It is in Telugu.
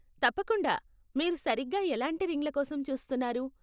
తప్పకుండా, మీరు సరిగ్గా ఎలాంటి రింగ్ల కోసం చూస్తున్నారు?